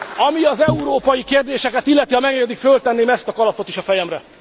Ami az európai kérdéseket illeti, ha megengedik, fölteszem ezt a kalapot is a fejemre.